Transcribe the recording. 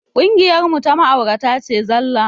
Ƙungiyar mu ta ma'aurata ce zallah